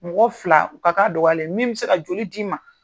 Mɔgɔ fila u ka ka dɔgɔyalen min mi se ka joli d'i ma.